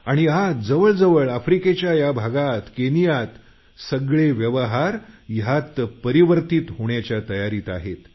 आणि आता आफ्रिकेच्या सर्व भागात केनियातील व्यवहार परिवर्तीत होण्याच्या तयारीत आहेत